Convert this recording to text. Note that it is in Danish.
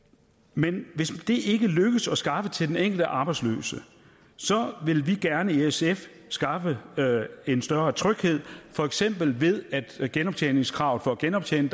men hvis det ikke lykkes at skaffe job til den enkelte arbejdsløse så vil vi gerne i sf skaffe en større tryghed for eksempel ved at genoptjeningskravet for at genoptjene